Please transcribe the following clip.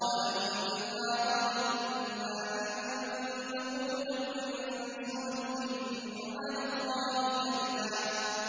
وَأَنَّا ظَنَنَّا أَن لَّن تَقُولَ الْإِنسُ وَالْجِنُّ عَلَى اللَّهِ كَذِبًا